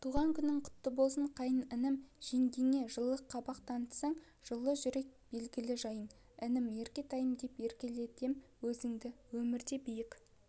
туған күнің құтты болсын қайын інім жеңгеңе жылы қабақ танытасың жылы жүрек белгілі жайың інім еркетайым деп еркелетем өзіңді өміріңде биік